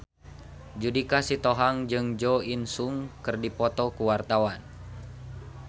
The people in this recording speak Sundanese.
Judika Sitohang jeung Jo In Sung keur dipoto ku wartawan